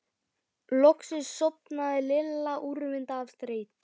Loksins sofnaði Lilla úrvinda af þreytu.